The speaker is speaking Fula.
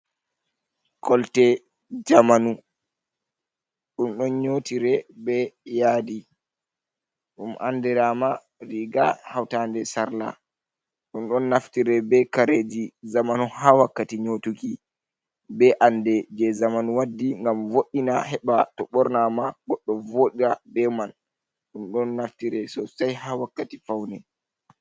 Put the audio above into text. Kolte jamanu. Ɗum ɗon nyotire be yadi ɗum andira ma riga hawtade e sarla. Ɗum ɗon naftira kare ji zamanu ha wakkati nyotukki, be ande je zamanu waddi ngam voi, na heɓa to ɓorna ma goɗɗo voɗa, be man ɗum ɗon naftire sosay ha wakkati pawne.